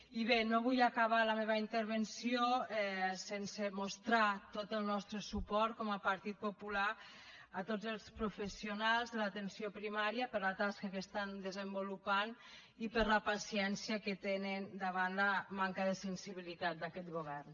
i bé no vull acabar la meva intervenció sense mostrar tot el nostre suport com a partit popular a tots els professionals de l’atenció primària per la tasca que estan desenvolupant i per la paciència que tenen davant la manca de sensibilitat d’aquest govern